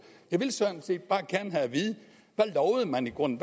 jeg vil sådan set bare gerne have at vide hvad man i grunden